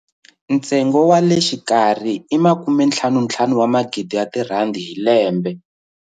Ntsengo wa le xikarhi i R55 000 hi lembe.